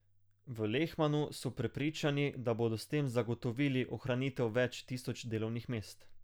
V Lehmanu so prepričani, da bodo s tem zagotovili ohranitev več tisoč delovnih mest.